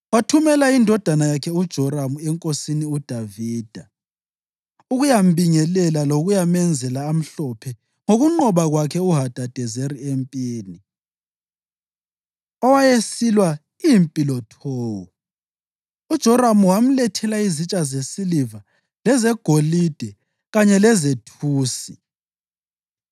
wathumela indodana yakhe uJoramu enkosini uDavida ukuyambingelela lokuyamenzela amhlophe ngokunqoba kwakhe uHadadezeri empini, owayesilwa impi loTowu. UJoramu wamlethela izitsha zesiliva lezegolide kanye lezethusi.